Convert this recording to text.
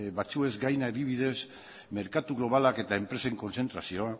batzuez gain adibidez merkatu globalak eta enpresen kontzentrazioa